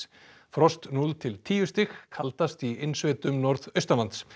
frost núll til tíu stig kaldast í innsveitum norðaustanlands